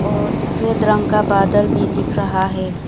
और सफेद रंग का बदला भी दिख रहा है।